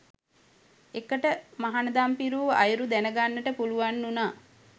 එකට මහණදම් පිරූ අයුරු දැනගන්නට පුළුවන් වුණා.